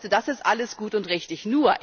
Das ist alles gut und richtig.